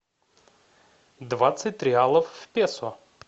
двадцать реалов в песо